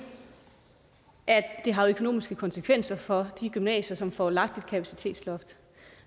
at det har økonomiske konsekvenser for de gymnasier som får lagt et kapacitetsloft